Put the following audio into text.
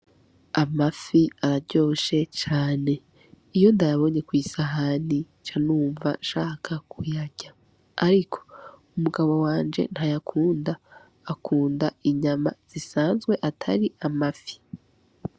Amafi araryoshe cane iyo ndabonye kwisahanica numva shaka kuyarya, ariko umugabo wanje nta yakunda akunda inyama zisanzwe atari amafi.